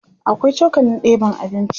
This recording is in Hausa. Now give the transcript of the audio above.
akwai cokalin ɗeban abinci